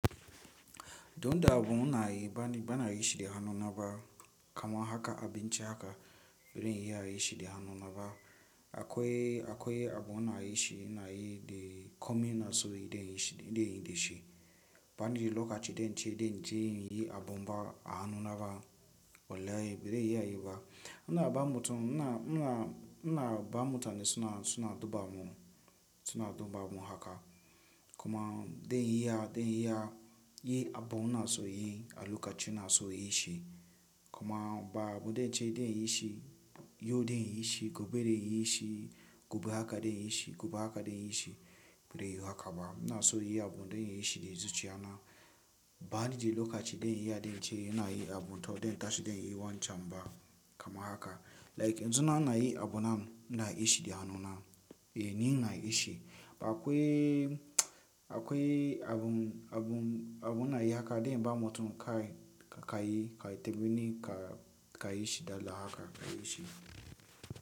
Don da abun na yi bani-- bana yi shi da hannuna ba kaman haka abinci haka baren yi ya yin shi da hanu naba. Akwai, akwai abun ina yi shi ina yi de komin na so ya yi de yi shi de yi da shi. Bani lokaci den ce den je nayi abun ba a hannu naba walahi bare iya yi ba. Ina ba mutum, ina, ina, ina ba mutane suna, suna duba mun, suna duba mun haka. Kuma den yi ya, den yi ya yin abu ina so yi a lokacin ina so yi shi. Kuma ba abu den ce den yi shi, yo den yi shi, gobe den yi shi, gobe haka den yi shi, gobe haka den yi shi, bare yiwu haka ba. Ina so yi abun den yi shi da zuciya na. Bani je lokaci ɗaya in yi ya den ce ina yi abun to den tashi den yi wancan ba kaman haka. Like yanzu na ana yi abun namu, ina yi shi da hannu na. Ni ina yi shi. Akwai, akwai abun, abun, abun ina yi haka den ba mutum kai, ka yi, ka yi ta mini ka, ka yi shi dala haka ka yi shi.